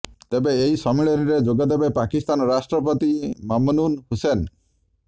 ତେବେ ଏହି ସମ୍ମିଳନୀରେ ଯୋଗଦେବେ ପାକିସ୍ତାନ ରାଷ୍ଟ୍ରପତି ମମନୁନ୍ ହୁସେନ୍